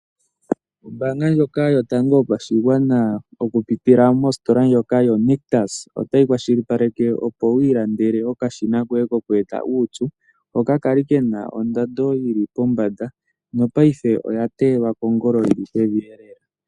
Ombaanga ndjoka yotango yopashigwana okupitila mositola ndjoka yoNictus otayi kwashilipaleke opo wiilandele okashina koye kokweeta uupyu hoka kali kena oondando yili pombanda nopaife oya teelwa kongolo yili pevi lela.